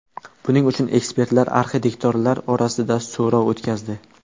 Buning uchun ekspertlar arxitektorlar orasida so‘rov o‘tkazdi.